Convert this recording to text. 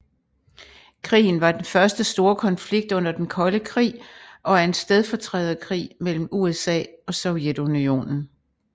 Krigen var den første store konflikt under den kolde krig og er en stedfortræderkrig mellem USA og Sovjetunionen